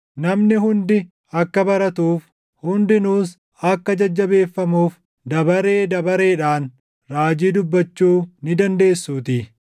Namni hundi akka baratuuf, hundinuus akka jajjabeeffamuuf dabaree dabareedhaan raajii dubbachuu ni dandeessuutii.